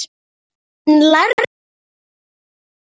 En lærðu fyrst.